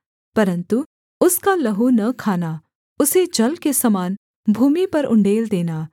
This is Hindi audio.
परन्तु उसका लहू न खाना उसे जल के समान भूमि पर उण्डेल देना